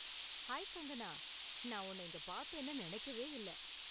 Hi, Kangana, நான் உன்ன இங்க பார்ப்பேன்னு நினைக்கவே இல்ல.